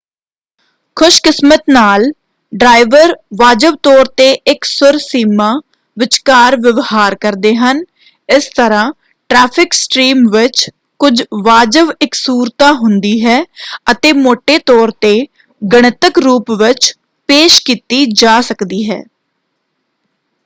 ਖ਼ੁਸ਼ਕਿਸਮਤ ਨਾਲ ਡਰਾਇਵਰ ਵਾਜਬ ਤੌਰ 'ਤੇ ਇਕਸੁਰ ਸੀਮਾ ਵਿਚਕਾਰ ਵਿਵਹਾਰ ਕਰਦੇ ਹਨ; ਇਸ ਤਰ੍ਹਾਂ ਟਰੈਫਿਕ ਸਟ੍ਰੀਮ ਵਿੱਚ ਕੁਝ ਵਾਜਬ ਇਕਸੁਰਤਾ ਹੁੰਦੀ ਹੈ ਅਤੇ ਮੌਟੇ ਤੌਰ 'ਤੇ ਗਣਿਤਕ ਰੂਪ ਵਿੱਚ ਪੇਸ਼ ਕੀਤੀ ਜਾ ਸਕਦੀ ਹੈ।